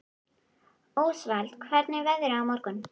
Ósvald, hvernig er veðrið á morgun?